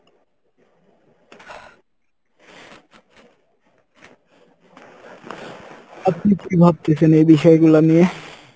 আপনি কী ভাবতেছেন এই বিষয়গুলা নিয়ে?